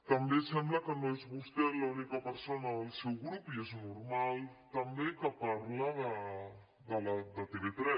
també sembla que no és vostè l’única persona del seu grup i és normal també que parla de tv3